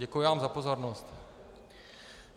Děkuji vám za pozornost.